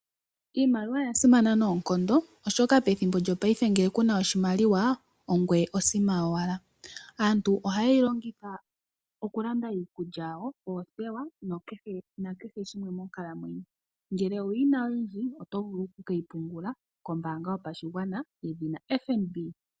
Iimaliwa oya simana noonkondo, oshoka pethimbo lyopaife ngele ku na oshimaliwa ongoye osima yowala. Aantu ohaye yi longitha okulanda iikulya yawo, oothewa nakehe shimwe monkalamwenyo. Ngele owu yi n aoyindji, oto vulu oku ke yi pungula kombaanga yopashigwana yedhina FNB.